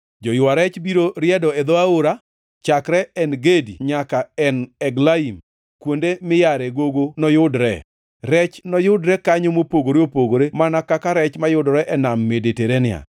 Joywa rech biro riedo e dho aora; chakre En Gedi nyaka En Eglaim, kuonde miyare gogo noyudre. Rech noyudre kanyo mopogore opogore, mana kaka rech mayudore e Nam Mediterania.